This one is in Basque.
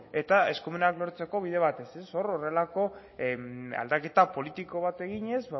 eta eskumenak lortzeko bide batez hor horrelako aldaketa politika bat eginez